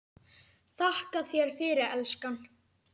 Þakka þér fyrir, elskan.